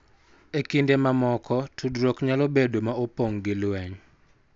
E kinde mamoko, tudruok nyalo bedo ma opong� gi lweny,